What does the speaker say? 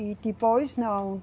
E depois não.